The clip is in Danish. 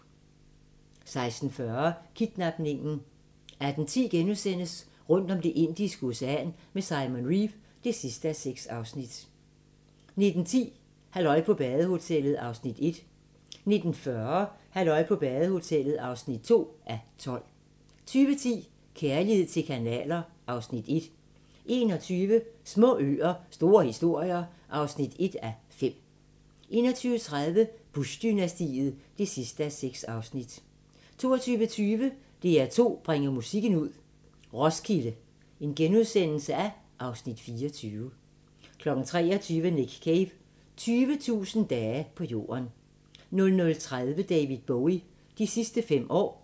16:40: Kidnapningen 18:10: Rundt om Det Indiske Ocean med Simon Reeve (6:6)* 19:10: Halløj på badehotellet (1:12) 19:40: Halløj på badehotellet (2:12) 20:10: Kærlighed til kanaler (Afs. 1) 21:00: Små øer - store historier (1:5) 21:30: Bush-dynastiet (6:6) 22:20: DR2 bringer musikken ud – Roskilde (Afs. 24)* 23:00: Nick Cave – 20.000 dage på jorden 00:30: David Bowie – de sidste fem år